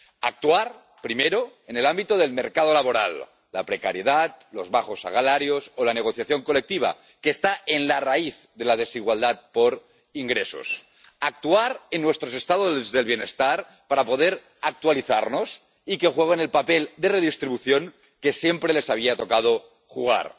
Actuar, primero, en el ámbito del mercado laboral la precariedad, los bajos salarios, o la negociación colectiva, que está en la raíz de la desigualdad por ingresos. Actuar en nuestros estados del bienestar para poder actualizarlos y que desempeñen el papel de redistribución que siempre les había tocado desempeñar.